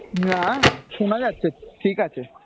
না না, শোনা যাচ্ছে ঠিক আছে।